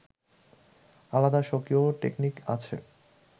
আলাদা স্বকীয় টেকনিক আছে